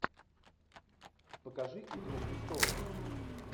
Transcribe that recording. покажи игру престолов